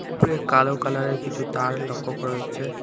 উপরে কালো কালারের কিছু তার লক্ষ্য করা হচ্ছে।